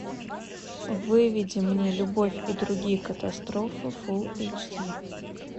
выведи мне любовь и другие катастрофы фулл эйч ди